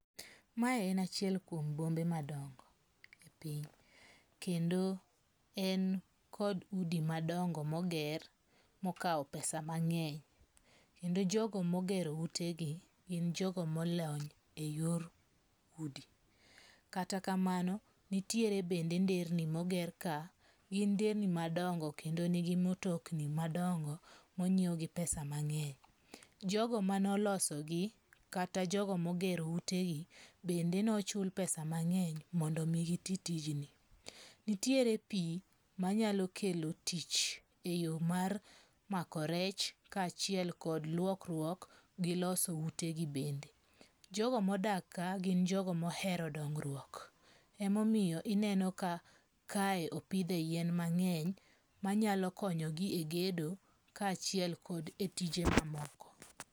Mae en achiel kuom bombe madongo' e piny, kendo en kod udi madongo moger mokawo pesa mange'ny, kendo jogo mogero utegi gin jogo molony e yor udi, kata kamano nitiere bende nderni moger ka, gin nderni madongo kendo nigi mtokni madongo monyiew gi pesa mange'ny, jogo manolosogi kata jogo magero utegi gi bende nochul pesa mangeny mondo mi gi ti tijni, nitiere pi manyalo kelo tich e yo mar mako rech ka chiel kod luokruok gi loso utegi bende, jogo modak kae gin jogo mohero dongruok, emomiyo ineno ka kae opithe yien mangeny manyalo konyogi e gedo kachiel kod e tije mamoko